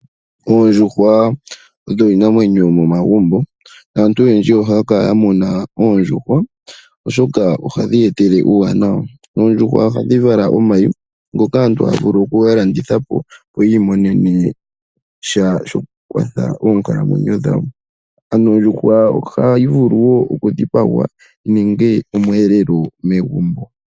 Oondjuhwa odho iinamwenyo yomomagumbo naantu oyendji ohaya kala ya muna oondjuhwa oshoka ohadhi etele uuwanawa. Oondjuhwa ohadhi vala omayi ngoka aantu haya vulu okuga landithapo opo yiimonene sha shoku kwatha oonkalamwenyo dhawo. Ano ondjuhwa ohayi vulu wo okudhipagwa yininge omweelelo megumbo.